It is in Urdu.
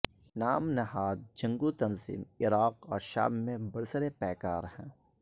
نام نہاد جنگجو تنظیم عراق اور شام میں برسر پیکار ہے